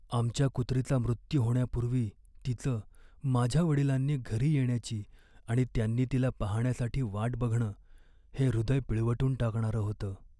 आमच्या कुत्रीचा मृत्यू होण्यापूर्वी तिचं, माझ्या वडिलांनी घरी येण्याची आणि त्यांनी तिला पाहण्यासाठी वाट बघणं हे हृदय पिळवटून टाकणारं होतं.